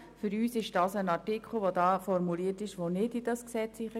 Für uns gehört der formulierte Artikel nicht ins Gesetz.